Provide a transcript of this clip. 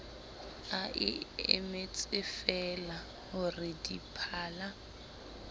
a emetsefeela ho re diphala